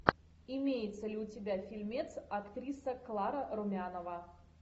имеется ли у тебя фильмец актриса клара румянова